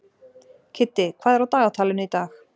Kiddi, hvað er á dagatalinu í dag?